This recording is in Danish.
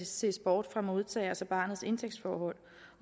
ses bort fra modtagerens og barnets indtægtsforhold